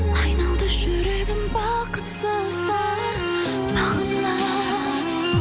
айналды жүрегім бақытсыздар бағына